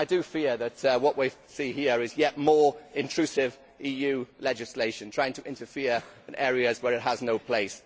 I fear that what we see here is yet more intrusive EU legislation trying to interfere in areas where it has no place.